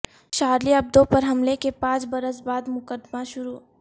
Charlie Hebdo پر حملے کے پانچ برس بعد مقدمہ شروع